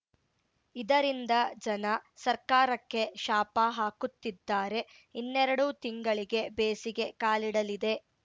ಇದರಿಂದ ಜನ ಸರ್ಕಾರಕ್ಕೆ ಶಾಪ ಹಾಕುತ್ತಿದ್ದಾರೆ ಇನ್ನೆರೆಡು ತಿಂಗಳಿಗೆ ಬೇಸಿಗೆ ಕಾಲಿಡಲಿದೆ